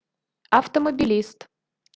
автомобилист